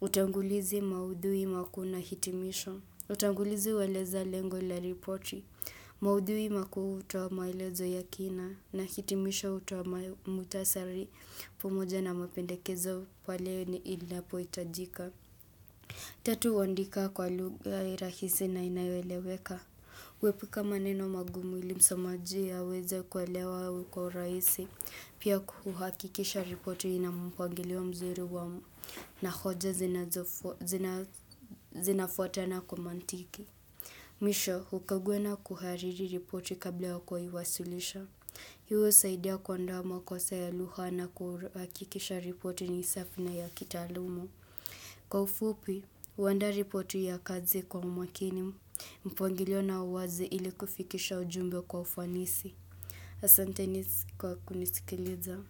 utangulizi maudhui makuu na hitimisho. Utangulizi hueleza lengo la ripoti. Maudhui makuu hutoa maelezo ya kina na hitimisho hutoa muktasari pamoja na mapendekezo pale ni inapoitajika. Tatu huandika kwa lugha rahisi na inayoeleweka. Kuepuka maneno magumu ili msomaji aweze kuelewa kwa urahisi. Pia kuhakikisha ripoti ina mpangilio mzuri wa na hoja zinafuatana kwa mantiki. Mwisho, hukagua na kuhariri ripoti kabla ya kuiwasilisha. Hio husaidia kuondoa makosa ya lugha na kuhakikisha ripoti ni safi na ya kitalumu. Kwa ufupi, huandaa ripoti ya kazi kwa umakini, mpangilio na uwazi ili kufikisha ujumbe kwa ufanisi. Asanteni kwa kunisikiliza.